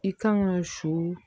I kan ka su